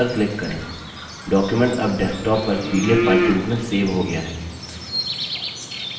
document अब desktop पर pdf file के रूप में सेव हो गया है